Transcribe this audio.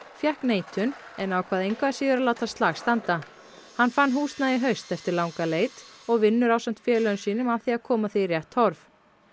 fékk neitun en ákvað engu að síður að láta slag standa hann fann húsnæði í haust eftir langa leit og vinnur ásamt félögum sínum að því að koma því í rétt horf